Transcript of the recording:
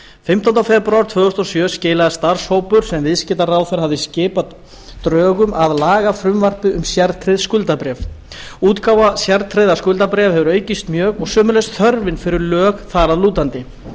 fimmtánda febrúar tvö þúsund og sjö skilaði starfshópur sem viðskiptaráðherra hafði skipað drögum að lagafrumvarpi um sértryggð skuldabréf útgáfa sértryggðra skuldabréfa hefur aukist mjög og sömuleiðis þörfin fyrir lög þar að lútandi